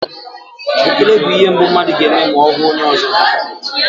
Ekele bụ ihe mbụ mmadụ ga-eme ma ọ hụ onye ọzọ.